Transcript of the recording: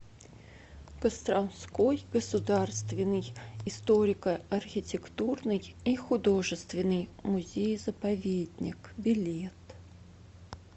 костромской государственный историко архитектурный и художественный музей заповедник билет